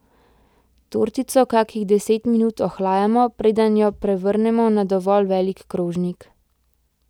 Tortico kakih deset minut ohlajamo, preden jo prevrnemo na dovolj velik krožnik.